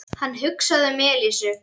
Hann hugsaði um Elísu.